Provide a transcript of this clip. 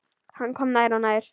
Hann kom nær og nær.